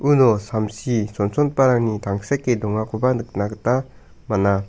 uno samsi chonchongiparangni tangseke dongakoba nikna gita man·a.